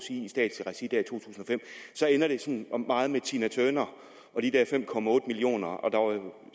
fem så ender det meget med tina turner og de der fem millioner og